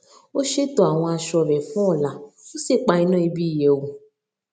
ó ṣètò àwọn aṣọ rẹ fún ọla ó sì pa iná ibi ìyẹwù